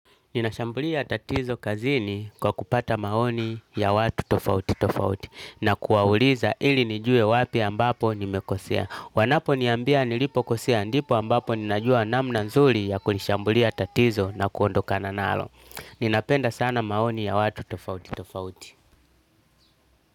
Ninashambulia tatizo kazini kwa kupata maoni ya watu tofauti tofauti na kuwauliza ili nijue wapi ambapo nimekosea. Wanaponiambia nilipokosea ndipo ambapo ninajua namna nzuri ya kuishambulia tatizo na kuondokana nalo. Ninapenda sana maoni ya watu tofauti tofauti.